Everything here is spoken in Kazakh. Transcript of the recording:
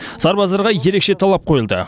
сарбаздарға ерекше талап қойылды